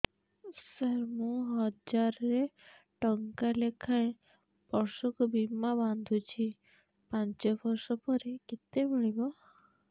ସାର ମୁଁ ହଜାରେ ଟଂକା ଲେଖାଏଁ ବର୍ଷକୁ ବୀମା ବାଂଧୁଛି ପାଞ୍ଚ ବର୍ଷ ପରେ କେତେ ମିଳିବ